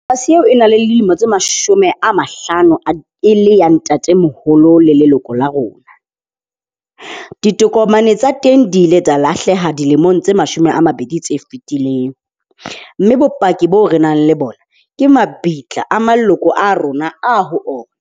Eo e na le lemo tse mashome a mahlano e le ya ntatemoholo le leloko la rona. Ditokomane tsa teng di ile tsa lahleha dilemong tse mashome a mabedi tse fetileng. Mme bopaki boo re nang le bona ke mabitla a maloko a rona a ho .